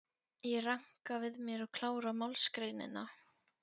Ég ranka við mér og klára málsgreinina.